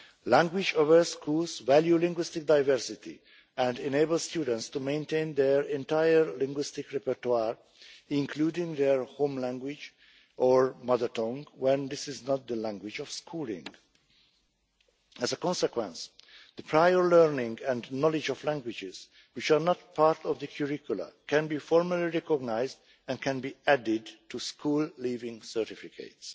Language aware schools value linguistic diversity and enable students to maintain their entire linguistic repertoire, including their home language or mother tongue when this is not the language of schooling. As a consequence, the prior learning and knowledge of languages which are not part of the curriculum can be formally recognised and can be added to school leaving certificates.